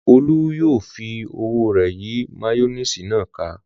Olú yóò fi ọwọ́ rẹ̀ yí máyónísì náà ká.